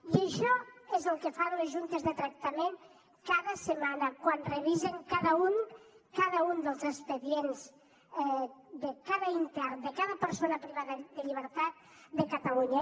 i això és el que fan les juntes de tractament cada setmana quan revisen cada un dels expedients de cada intern de cada persona privada de llibertat de catalunya